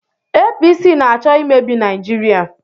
APC na-achọ imebi Naijiria.